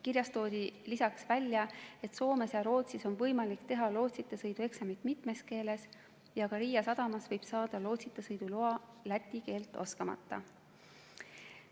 Kirjas toodi ka välja, et Soomes ja Rootsis on võimalik teha lootsita sõidu eksamit mitmes keeles ja Riia sadamas võib saada lootsita sõidu loa läti keelt oskamata.